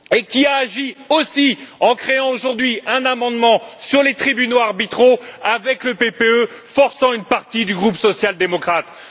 Il a agi aussi en créant aujourd'hui un amendement sur les tribunaux arbitraux avec le groupe PPE, en forçant une partie du groupe social démocrate.